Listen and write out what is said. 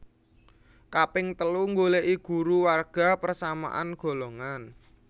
Kaping telu nggoleki guru warga persamaan golongan